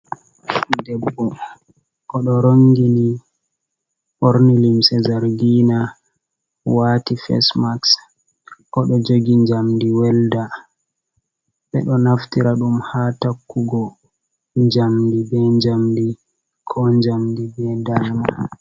Debbo oɗo rongini ɓorne limse zargina wati fase maxs oɗo jogi jamdi welɗa, ɓeɗo naftira ɗum ha takugo njamdi be njamdi ko njamdi be dalma.